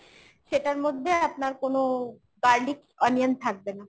সেটার মধ্যে আপনার কোনো garlic onion থাকবে না।